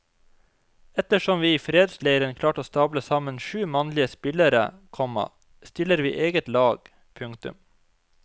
Ettersom vi i fredsleiren klarte å stable sammen sju mannlige spillere, komma stiller vi eget lag. punktum